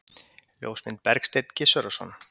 Ljósmynd: Bergsteinn Gizurarson.